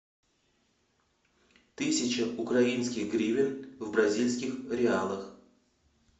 тысяча украинских гривен в бразильских реалах